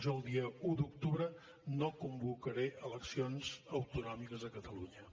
jo el dia un d’octubre no convocaré eleccions autonòmiques a catalunya